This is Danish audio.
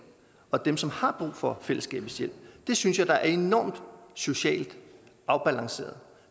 og dem som har brug for fællesskabets hjælp det synes jeg da er enormt socialt afbalanceret